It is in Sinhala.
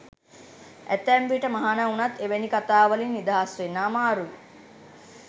ඇතැම් විට මහණ වුණත් එවැනි කතා වලින් නිදහස් වෙන්න අමාරුයි.